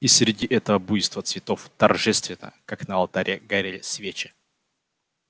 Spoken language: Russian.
и среди этого буйства цветов торжественно как на алтаре горели свечи